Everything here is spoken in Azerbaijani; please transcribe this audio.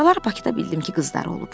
Sonralar Bakıda bildim ki, qızları olub.